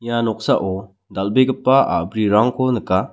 ia noksao dal·begipa a·brirangko nika.